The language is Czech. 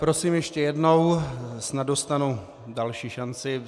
Prosím ještě jednou, snad dostanu další šanci.